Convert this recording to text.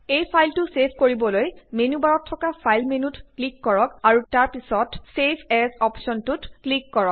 এই ফাইলটো ছেভ কৰিবলৈ মেনু বাৰত থকা ফাইল মেনুত ক্লিক কৰক আৰু তাৰপিছত ছেভ এজ অপশ্বনটোত ক্লিক কৰক